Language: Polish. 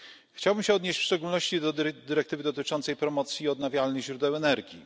Chciałbym się odnieść w szczególności do dyrektywy dotyczącej promocji odnawialnych źródeł energii.